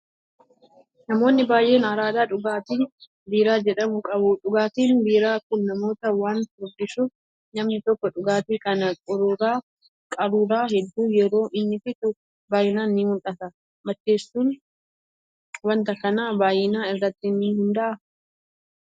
Namoonni baay'een araada dhugaatii biiraa jedhamuu qabu. Dhugaatiin biiraa kun namoota waan furdisuuf namni tokko dhugaatii kana qaruuraa hedduu yeroon inni fixu baay'inaan ni mul'ata. Macheessuun wanta kanaa baay'ina irratti ni hundaa'aa?